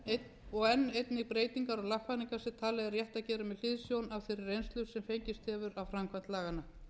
breytingar og lagfæringar sem talið er rétt að gera með hliðsjón af þeirri reynslu sem fengist hefur af framkvæmd laganna